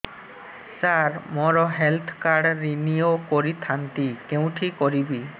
ସାର ମୋର health card renew କରିଥାନ୍ତି କେଉଁଠି କରିବି